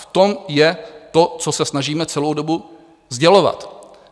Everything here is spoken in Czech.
V tom je to, co se snažíme celou dobu sdělovat.